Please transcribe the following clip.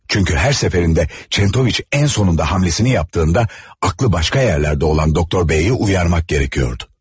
Çünki hər səfərində Çentoviç ən sonunda hərəkətini etdiyində, ağlı başqa yerlərdə olan Doktor B-yi oyandırmaq lazım idi.